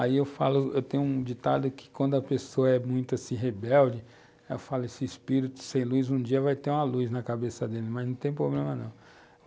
Aí eu falo, eu tenho um ditado que quando a pessoa é muito assim, rebelde, eu falo, esse espírito sem luz, um dia vai ter uma luz na cabeça dele, mas não tem problema não.